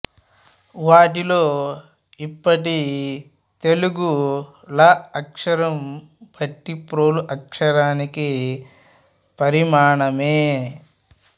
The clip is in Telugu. వాటిలో ఇప్పటి తెలుగు ళ అక్షరం భట్టిప్రోలు అక్షరానికి పరిణామమే